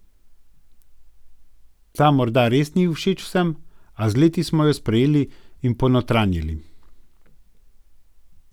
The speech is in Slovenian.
Ta morda res ni všeč vsem, a z leti smo jo sprejeli in ponotranjili.